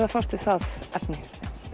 að fást við það efni